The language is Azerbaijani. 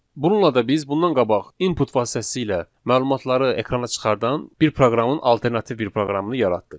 Bununla da biz bundan qabaq input vasitəsilə məlumatları ekrana çıxardan bir proqramın alternativ bir proqramını yaratdıq.